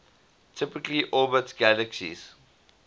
typically orbit galaxies